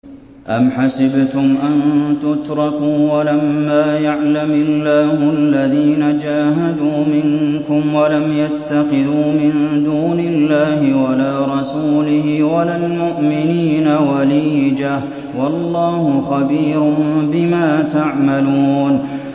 أَمْ حَسِبْتُمْ أَن تُتْرَكُوا وَلَمَّا يَعْلَمِ اللَّهُ الَّذِينَ جَاهَدُوا مِنكُمْ وَلَمْ يَتَّخِذُوا مِن دُونِ اللَّهِ وَلَا رَسُولِهِ وَلَا الْمُؤْمِنِينَ وَلِيجَةً ۚ وَاللَّهُ خَبِيرٌ بِمَا تَعْمَلُونَ